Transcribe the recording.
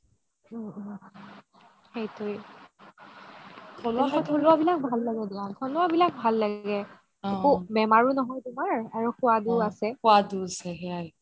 উম উম সেইটোৱে থলুৱা বিলাক ভাল লাগে দিয়া, থলুৱা বিলাক ভাল লাগে একো বেমাৰও নহয় তুমাৰ আৰু সুৱাদও আছে